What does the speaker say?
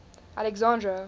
alexandra